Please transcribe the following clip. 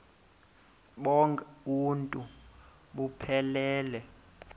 bonk uuntu buphelele